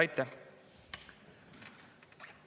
Aitäh!